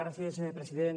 gràcies president